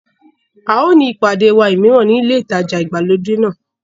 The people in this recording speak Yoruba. A ó ní ìpàdé wa mìíràn ní ilé ìtajà ìgbàlódé náà.